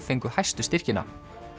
fengu hæstu styrkina